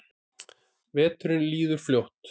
Veturinn líður fljótt.